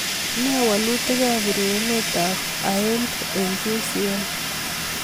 Ne walutikab urerenetab aend eng ucl